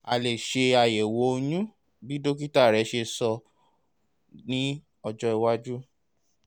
a lè ṣe àyẹ̀wò oyún bí dókítà rẹ ṣe sọ ní ọjọ́ iwájú